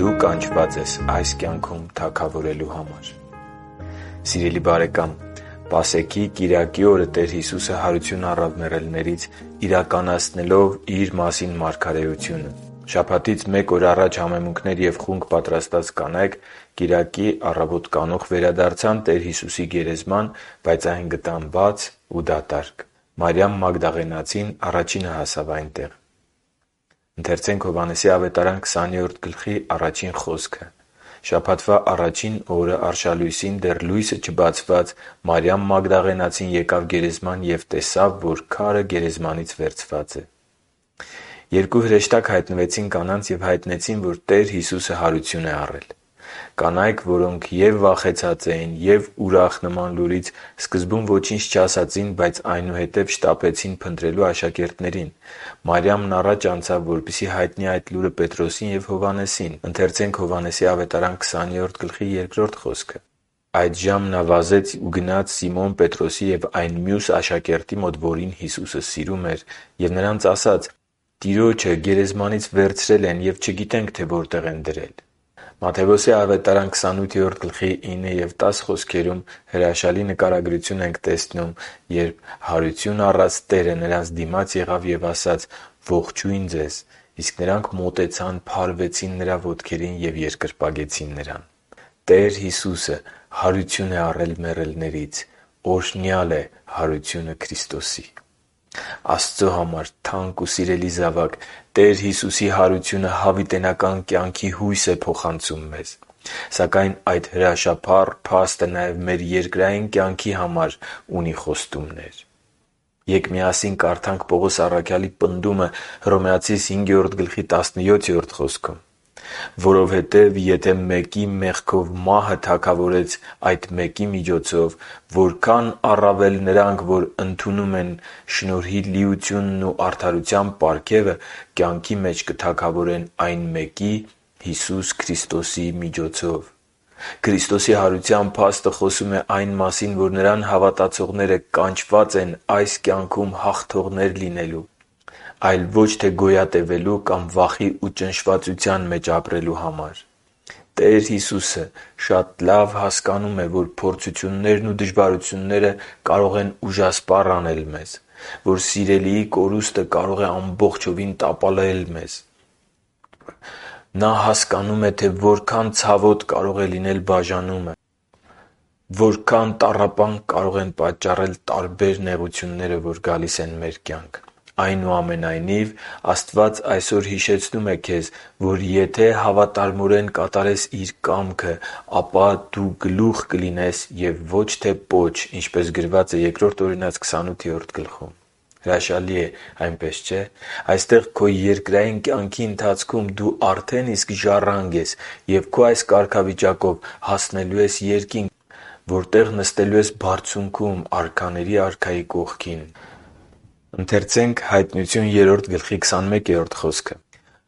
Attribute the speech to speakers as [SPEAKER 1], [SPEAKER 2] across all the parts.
[SPEAKER 1] Դու կանչված ես այս կյանքում թագավորելու համար👑 Սիրելի՛ բարեկամ, Պասեքի կիրակի օրը Տեր Հիսուսը հարություն առավ մեռելներից՝ իրականացնելով Իր մասին մարգարեությունը։ Շաբաթից մեկ օր առաջ համեմունքներ և խունկ պատրաստած կանայք կիրակի առավոտ կանուխ վերադարձան Տեր Հիսուսի գերեզման, բայց այն գտան բաց ու դատարկ։ Մարիամ Մագդաղենացին առաջինը հասավ այնտեղ։ «Շաբաթվա առաջին օրն արշալույսին՝ դեռ լույսը չբացված, Մարիամ Մագդաղենացին եկավ գերեզման և տեսավ, որ քարը գերեզմանից վերցված է» (Հովհաննես 20.1)։ Երկու հրեշտակ հայտնվեցին կանանց և հայտնեցին, որ Տեր Հիսուսը հարություն է առել ( Մատթևոս 28.2-7; Մարկոս 16.4-7; Ղուկաս 24.2-7)։ Կանայք, որոնք և՛ վախեցած էին, և՛ ուրախ նման լուրից, սկզբում ոչինչ չասացին, բայց այնուհետև շտապեցին փնտրելու աշակերտներին։ Մարիամն առաջ անցավ, որպեսզի հայտնի այդ լուրը Պետրոսին և Հովհաննեսին. «Այդժամ նա վազեց ու գնաց Սիմոն Պետրոսի և այն մյուս աշակերտի մոտ, որին Հիսուսը սիրում էր։ Եվ նրանց ասաց. «Տիրոջը գերեզմանից վերցրել են, ու չգիտենք, թե որտե՛ղ են նրան դրել»։ (Հովհաննես 20․2): «Հանկարծ Հիսուսը նրանց դիմաց ելավ ու ասաց. «Ողջո՜ւյն ձեզ»։ Նրանք մոտեցան, փարվեցին նրա ոտքերին և երկրպագեցին նրան» (Մատթեոս 28:9-10): Աստծո համար թանկ ու սիրելի՛ զավակ, Տեր Հիսուսի հարությունը հավիտենական կյանքի հույս է փոխանցում մեզ։ Սակայն այդ հրաշափառ փաստը նաև մեր երկրային կյանքի համար ունի խոստումներ։ Ե՛կ միասին կարդանք Պողոս առաքյալի պնդումը Հռոմեացիս 5.17 խոսքում. «Որովհետև եթե մեկի մեղքով մահը թագավորեց այդ մեկի միջոցով, որքա՜ն առավել նրանք, որ ընդունում են շնորհի լիությունն ու արդարության պարգևը, կյանքի մեջ կթագավորեն այն մեկի՝ Հիսուս Քրիստոսի միջոցով»։ Քրիստոսի հարության փաստը խոսում է այն մասին, որ Նրան հավատացողները կանչված են այս կյանքում հաղթող լինելու, այլ ոչ թե՝ գոյատևելու կամ վախի ու ճնշվածության մեջ ապրելու համար։ Տեր Հիսուսը լավ է հասկանում, որ․ Փորձություններն ու դժվարությունները կարող են ուժասպառ անել մեզ, Սիրելիի կորուստը կարող է ամբողջովին տապալել մեզ, Որքան ցավոտ կարող է լինել բաժանումը, Որքան տառապանք կարող են պատճառել ֆինանսական նեղությունները, Եվ այլն։ Այնուամենայնիվ, Աստված այսօր հիշեցնում է քեզ, որ եթե հավատարմորեն կատարես Աստծո կամքը, ապա դու գլուխ կլինես և ոչ թե պոչ, ինչպես գրված է Բ Օրինաց 28-րդ գլխում։ Հրաշալի է, այնպես չէ՞։ Այստեղ՝ քո երկրային կյանքում դու արդեն իսկ ժառանգ ես, և քո այս կարգավիճակով դու հասնելու ես Երկինք, որտեղ նստելու ես բարձունքում՝ արքաների Արքայի կողքին.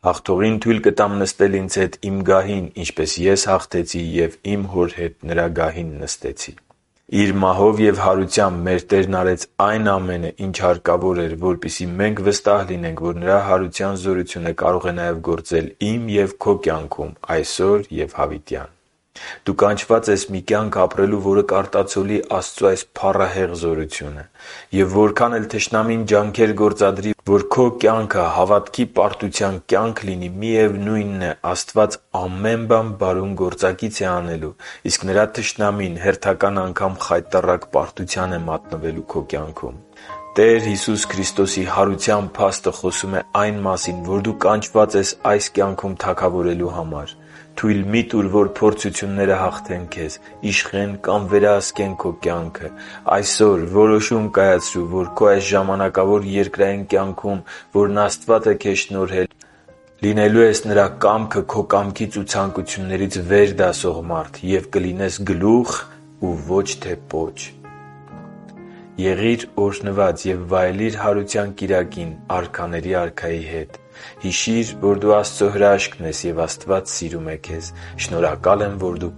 [SPEAKER 1] «Հաղթողին թույլ կտամ նստել Ինձ հետ Իմ գահին, ինչպես Ես հաղթեցի և Իմ Հոր հետ Նրա գահին նստեցի» (Հայտնություն 3:21)։ Իր մահով և հարությամբ մեր Տերն արեց այն ամենը, ինչ հարկավոր էր, որպեսզի մենք վստահ լինենք, որ Նրա հարության զորությունը կարող է գործել նաև քո կյանքում այսօր և հավիտյան։ Դու կանչված ես մի կյանք ապրելու, որը կարտացոլի Աստծո այս փառահեղ զորությունը։ Եվ որքան էլ թշնամին ջանքեր գործադրի, որ քո կյանքը հավատքի պարտության կյանք լինի, միևնույնն է՝ Աստված ամեն բան բարուն գործակից է անելու, իսկ Նրա թշնամին հերթական անգամ խայտառակ պարտության է մատնվելու քո կյանքում։ Տեր Հիսուսի Քրիստոսի հարության փաստը խոսում է այն մասին, որ դու կանչված ես այս կյանքում թագավորելու համար։ Թույլ մի՛ տուր, որ փորձությունները հաղթեն քեզ, իշխեն կամ վերահսկեն քո կյանքը… Այսօր որոշում կայացրու, որ քո այս ժամանակավոր երկրային կյանքում, որն Աստված է քեզ շնորհել, լինելու ես Նրա կամքը՝ քո կամքից ու ցանկություններից վեր դասող մարդ և կլինես գլուխ և ոչ թե պոչ։ Եղի՛ր օրհնված և վայելի՛ր Հարության Կիրակին Արքաների Արքայի հետ։ Հիշի՛ր, որ դու Աստծո հրաշքն ես, և Աստված սիրում է քեզ։ Շնորհակալ եմ, որ դու